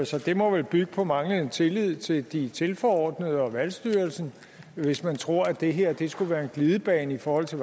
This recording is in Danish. så det må vel bygge på manglende tillid til de tilforordnede og valgstyrelsen hvis man tror at det her skulle være en glidebane i forhold til